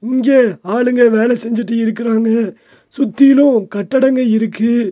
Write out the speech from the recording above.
இங்க ஆளுங்க வேல செஞ்சுட்டு இருக்கறாங்க சுத்திலு கட்டடங்க இருக்கு.